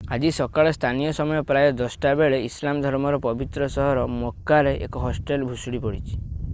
ଆଜି ସକାଳେ ସ୍ଥାନୀୟ ସମୟ ପ୍ରାୟ 10ଟା ବେଳେ ଇସଲାମ ଧର୍ମର ପବିତ୍ର ସହର ମକ୍‌କାରେ ଏକ ହଷ୍ଟେଲ ଭୁଶୁଡି ପଡ଼ିଛି।